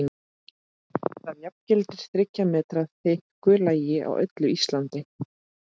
Það jafngildir þriggja metra þykku lagi á öllu Íslandi!